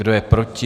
Kdo je proti?